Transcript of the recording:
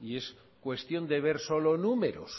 y es cuestión de ver solo números